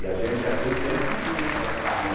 E a gente naquele tempo não tinha esse negócio de carrinho aí.